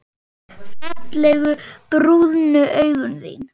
Fallegu brúnu augun þín.